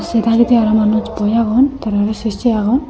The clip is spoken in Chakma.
ey dagedi araw manuj boi agon tara re se se agon.